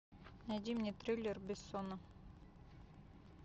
найди мне триллер бессона